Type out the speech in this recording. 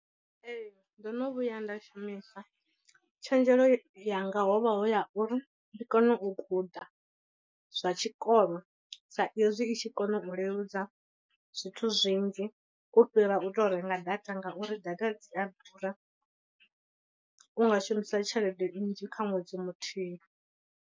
Ee, ndo no vhuya nda shumisa, tshenzhelo yanga ho vha hu ya uri ndi kone u guda zwa tshikolo sa izwi i tshi kona u leludza zwithu zwinzhi u fhira u tou renga data ngauri data dzi a ḓura, unga shumisa tshelede nnzhi kha ṅwedzi muthihi.